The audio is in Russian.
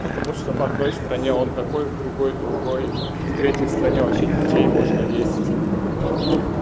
потому что в одной стране он такой в другой другой в третьей стране вообще детей можно есть например